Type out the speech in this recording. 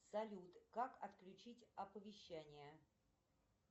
салют как отключить оповещения